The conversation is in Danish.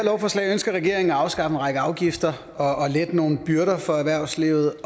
forslag ønsker regeringen at afskaffe en række afgifter og lette nogle byrder for erhvervslivet